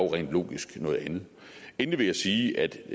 rent logisk noget andet endelig vil jeg sige at